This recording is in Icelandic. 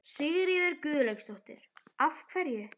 Sigríður Guðlaugsdóttir: Af hverju?